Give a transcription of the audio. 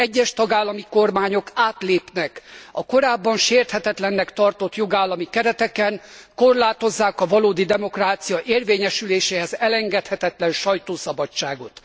Egyes tagállami kormányok átlépnek a korábban sérthetetlennek tartott jogállami kereteken, korlátozzák a valódi demokrácia érvényesüléséhez elengedhetetlen sajtószabadságot.